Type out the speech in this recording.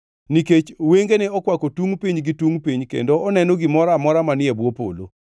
nikech wengene okwako tungʼ piny gi tungʼ piny kendo oneno gimoro amora manie bwo polo.